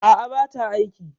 A'a, bata aiki.